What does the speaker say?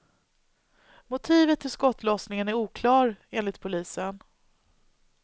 Motivet till skottlossningen är oklar, enligt polisen.